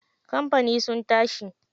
Kamfani sun tashi.